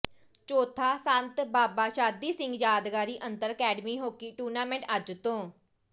ਚੌਥਾ ਸੰਤ ਬਾਬਾ ਸ਼ਾਦੀ ਸਿੰਘ ਯਾਦਗਾਰੀ ਅੰਤਰ ਅਕੈਡਮੀ ਹਾਕੀ ਟੂਰਨਾਮੈਂਟ ਅੱਜ ਤੋਂ